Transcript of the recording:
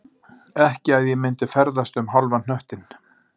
Ekki að ég myndi ferðast um hálfan hnöttinn